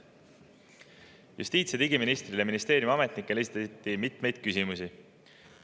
Justiits- ja digiministrile ja ministeeriumi ametnikele esitati mitmeid küsimusi.